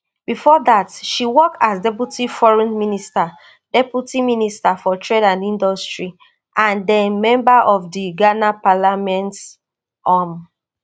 bifor dat she work as deputy foreign minster deputy minister for trade and industry and den member of di ghana parliament um